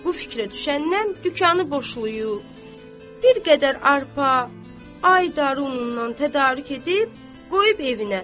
Bu fikrə düşəndən dükanı boşlayıb, bir qədər arpa, aydarı unundan tədarük edib, qoyub evinə.